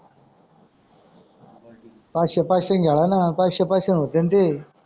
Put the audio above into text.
पाचशे पाचशे खेडा ना पाचशे पाचशे होते न ते.